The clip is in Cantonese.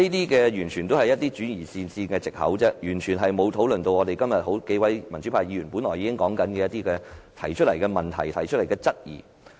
這些完全是轉移視線的藉口，完全沒有討論今天幾位民主派議員提出的問題和質疑。